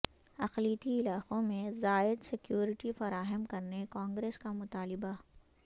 اقلیتی علاقوں میں زائد سکیورٹی فراہم کرنے کانگریس کا مطالبہ